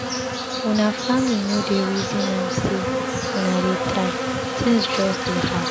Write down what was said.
Una family no dey resin am sey una dey try, tins just dey hard.